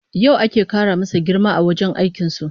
Yau ake kara masa girma a wajen aikin su